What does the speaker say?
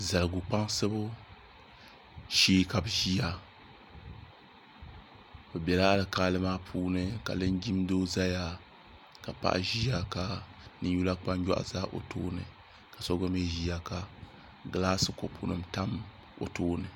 Zaligu kpaŋsibu shee ka bi ʒiya bi biɛla alikaali maa puuni ka linjin doo ʒɛya ka paɣa ʒiya ka ninyula kpanjoɣu ʒɛ o tooni ka so gba mii ʒiya ka gilaas kopu tam o tooni